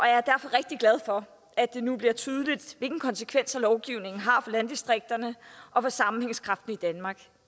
er derfor rigtig glad for at det nu bliver tydeligt hvilke konsekvenser lovgivningen har for landdistrikterne og for sammenhængskraften i danmark